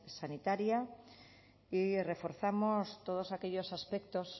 sanitaria y reforzamos todos aquellos aspectos